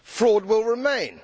fraud will remain.